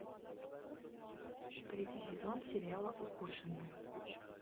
третий сезон сериала укушенная